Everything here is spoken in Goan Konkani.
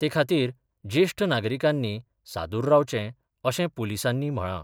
ते खातीर जेश्ठ नागरिकांनी सादुर रावचें अशें पुलिसांनी म्हळां.